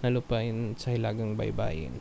na lupain sa hilagang baybayin